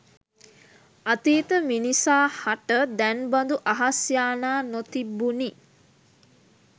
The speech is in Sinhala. අතීත මිනිසා හට දැන් බඳු අහස් යානා නො තිබුණි